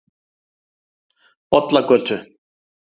Bollagötu